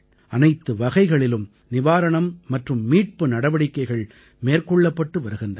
அனைத்து வகைகளிலும் நிவாரணம் மற்றும் மீட்பு நடவடிக்கைகள் மேற்கொள்ளப்பட்டு வருகின்றன